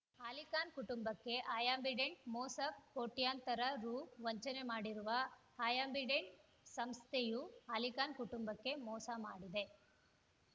ಅಲಿಖಾನ್‌ ಕುಟುಂಬಕ್ಕೆ ಅಯ್ ಅಂಬಿಡೆಂಟ್‌ ಮೋಸ ಕೋಟ್ಯಂತರ ರು ವಂಚನೆ ಮಾಡಿರುವ ಅಯ್ ಅಂಬಿಡೆಂಟ್‌ ಸಂಸ್ಥೆಯು ಅಲಿಖಾನ್‌ ಕುಟುಂಬಕ್ಕೆ ಮೋಸ ಮಾಡಿದೆ